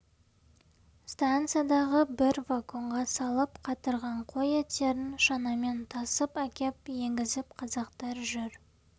станциядағы бір вагонға салып қатырған қой еттерін шанамен тасып әкеп енгізіп қазақтар жүр